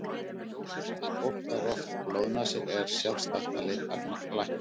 Ef fólk fær oft blóðnasir er sjálfsagt að leita læknis.